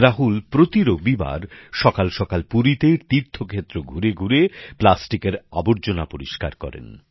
রাহুল প্রতি রবিবার সকালসকাল পুরীতে তীর্থ ক্ষেত্র ঘুরে ঘুরে প্লাস্টিকের আবর্জনা পরিষ্কার করেন